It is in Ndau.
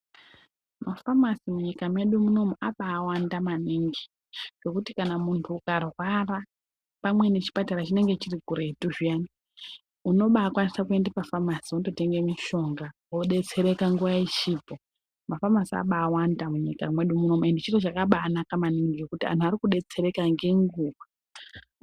Mafamasi munyika mwedu munomu abawanda maningi ngekuti kana muntu ukarwara pamweni chipatara chinenge kuri kuretu zviyani unobakwanisa kuenda pafamasi wototenga mishonga wodetsereka nguwa ichipo. Mafamasi abawanda munyika mwedu munomu ende chiro chakabanaka maningi ngekuti vantu varikudetsereka ngenguwa.